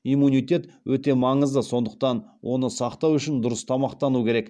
иммунитет өте маңызды сондықтан оны сақтау үшін дұрыс тамақтану керек